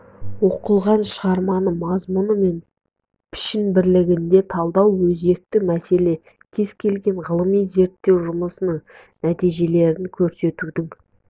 оқылған шығарманы мазмұн мен пішін бірлігінде талдау өзекті мәселе кез келген ғылыми зерттеу жұмысының нәтижелерін көрсетудің